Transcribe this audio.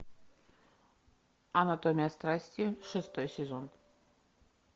анатомия страсти шестой сезон